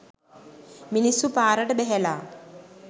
මිනිස්සු පාරට බැහැලා.